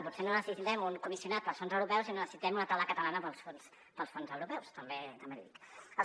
potser no necessitem un comissionat pels fons europeus sinó que necessitem una taula catalana pels fons europeus també l’hi dic